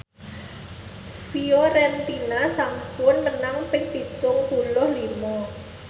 Fiorentina sampun menang ping pitung puluh lima